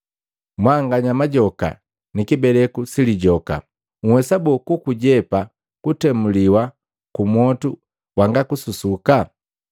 Mwanganya majoka ni kibeleku si lijoka! Nhwesa boo kukijepa kutemuliwa ku mwotu wangakususuka?